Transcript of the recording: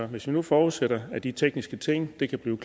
hvis vi nu forudsætter at de tekniske ting kan blive